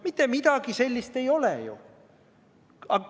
Mitte midagi sellist ei ole ju!